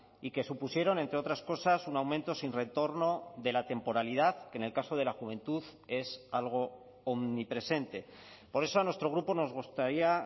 y que supusieron entre otras cosas un aumento sin retorno de la temporalidad que en el caso de la juventud es algo omnipresente por eso a nuestro grupo nos gustaría